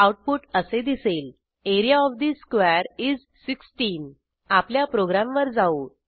output असे दिसेल A R E A O F the square is 16 आपल्या प्रोग्रॅमवर जाऊ